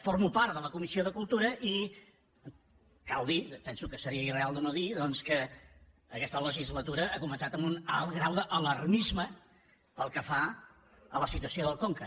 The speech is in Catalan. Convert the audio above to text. formo part de la comissió de cultura i cal dir penso que seria irreal de no dir doncs que aquesta legislatura ha co·mençat amb un alt grau d’alarmisme pel que fa a la si·tuació del conca